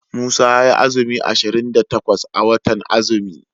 Musa yayi azumi ashirin da takwas a watan azumi.